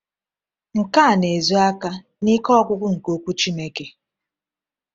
Nke a na-ezo aka n’ike ọgwụgwọ nke Okwu Chineke.